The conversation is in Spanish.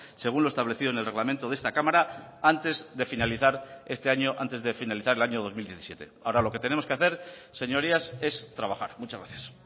según lo establecido en el reglamento de esta cámara antes de finalizar este año antes de finalizar el año dos mil diecisiete ahora lo que tenemos que hacer señorías es trabajar muchas gracias